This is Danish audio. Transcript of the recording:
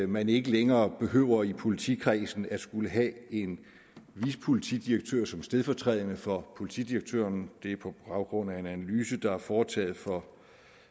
man ikke længere behøver i politikredsen at skulle have en vicepolitidirektør som stedfortræder for politidirektøren det er på baggrund af en analyse der er foretaget for